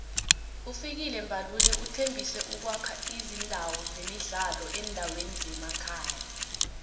ufikile mbalula uthembise ukuwakha izindawo zemidlalo eendaweni zemakhaya